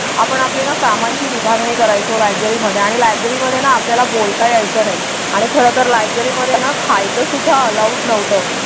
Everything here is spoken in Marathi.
आपण आपल्या कामांची विभागणी करायचं लायब्ररीमध्ये आणि लायब्ररीमध्ये आपल्याला बोलता यायचं नाही आणि खरं तर लायब्ररीमध्ये ना खायचंसुद्धा अलाउड नव्हतं.